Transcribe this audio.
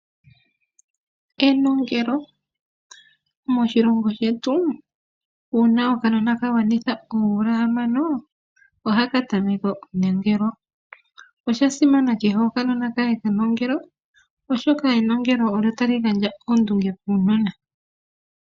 Enongelo, moshilongo shetu uuna okanona ka gwanitha oomvula hamano oha ka tameke enongelo osha simana kehe okanona ka ye kenongelo, oshoka enongelo olyo tali gandja oondunge kuunona.